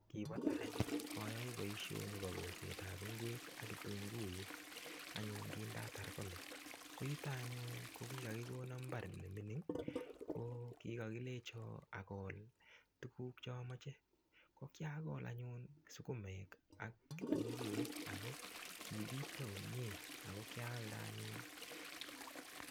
Kibo tai ayoe boishoni bo kolsetab ng'wek ak kitunguik anyun kindatar college ko yuto anyun ko kikakikono mbar nemining' ko kikakilecho akol tukuk chamoche ko kiakol anyun sukumek ak kitunguik ako kipityo komyee ako kialde anyun